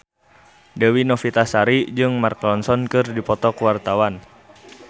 Dewi Novitasari jeung Mark Ronson keur dipoto ku wartawan